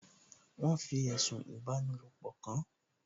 Wọ́n fi ẹ̀sùn ìfipábanílòpọ̀ kàán